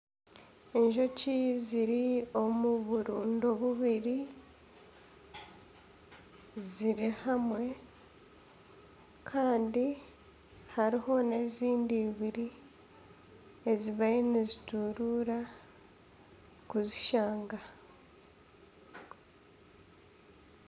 Enjoki ziri omu burundo bubiri ziri hamwe kandi hariho n'ezindi eibiri ezibayo nizituruura kuzishanga.